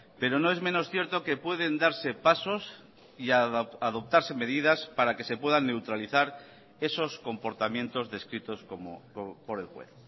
pero no es menos cierto que pueden darse pasos y adoptarse medidas para que se puedan neutralizar esos comportamientos descritos por el juez